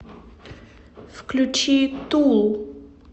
включи тул